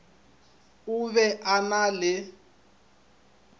o be a na le